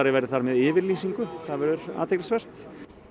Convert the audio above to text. verði þar með yfirlýsingu það verður athyglisvert